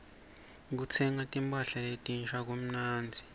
kutsenga timpahla letinsha kumnandzi